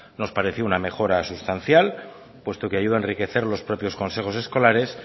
nos pareció una mejora sustancial puesto que ayuda a enriquecer los propios consejos escolares